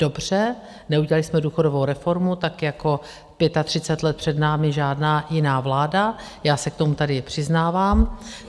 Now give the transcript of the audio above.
Dobře, neudělali jsme důchodovou reformu, tak jako 35 let před námi žádná jiná vláda, já se k tomu tady přiznávám.